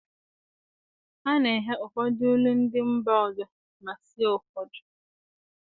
A na-eghe ụfọdụ nri ndị mba ọzọ ma sie ụfọdụ